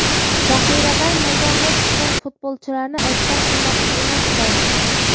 Zaxiradan maydonga tushgan futbolchilarni aybdor qilmoqchi emasman.